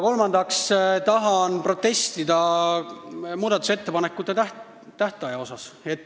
Kolmandaks tahan protestida muudatusettepanekute esitamise tähtaja vastu.